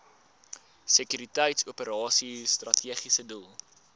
sekuriteitsoperasies strategiese doel